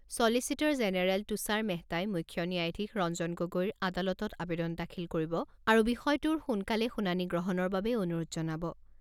চলিচিটৰ জেনেৰেল তুষাৰ মেহতাই মুখ্য ন্যায়াধীশ ৰঞ্জন গগৈৰ আদালতত আৱেদন দাখিল কৰিব আৰু বিষয়টোৰ সোনকালে শুনানি গ্ৰহণৰ বাবে অনুৰোধ জনাব।